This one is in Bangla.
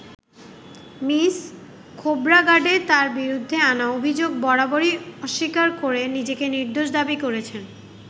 মিস খোবরাগাডে তাঁর বিরুদ্ধে আনা অভিযোগ বরাররই অস্বীকার করে নিজেকে নির্দোষ দাবী করেছেন।